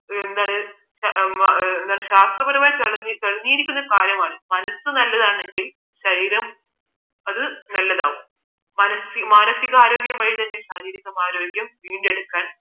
എന്താണ് ശാസ്ത്രപരമായി തെളിഞ്ഞ ഒരു കാര്യമാണ് മനസ്സ് നല്ലതാണെങ്കിൽ ശരീരം അത് നല്ലതാകും മാനസികാരോഗ്യ വഴി തന്നെ ശാരീരിക വീണ്ടെടുക്കാൻ